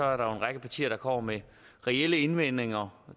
er en række partier der kommer med reelle indvendinger